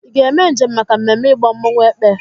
Ị ga-eme njem maka mmemme ịgba mmọnwụ Èkpè?